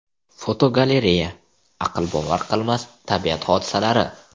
Fotogalereya: Aqlbovar qilmas tabiat hodisalari.